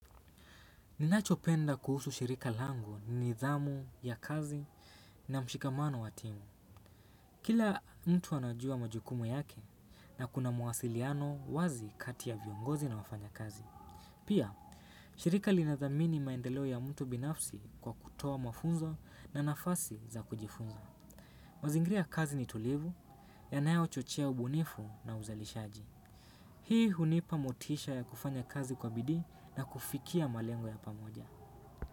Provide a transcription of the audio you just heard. Ninachopenda kuhusu shirika langu ni nidhamu ya kazi na mshikamano wa timu. Kila mtu anajua majukumu yake na kuna mawasiliano wazi kati ya viongozi na wafanya kazi. Pia, shirika linadhamini maendeleo ya mtu binafsi kwa kutoa mafunzo na nafasi za kujifunzo. Mazingri ya kazi ni tulivu, yanayo chochea ubunifu na uzalishaji. Hii hunipa motisha ya kufanya kazi kwa bidii na kufikia malengo ya pamoja.